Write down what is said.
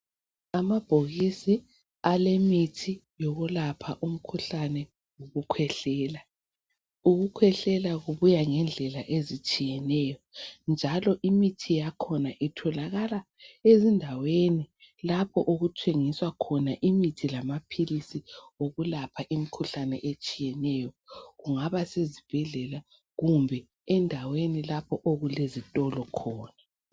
Amabhokisi alemithi yokulapha umkhuhlane okukhwehlela, ukukhwehlela kubuya ngendlela ezitshiyeneyo njalo imithi yakhona itholakala ezindaweni lapho okuthengiswa khona imithi lamaphilisi okulapha imikhuhlane etshiyeneyo, kungaba sezibhedlela kumbe endaweni lapho okulezitolo khona .